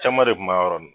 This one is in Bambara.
Caman de kun b'a yɔrɔ nin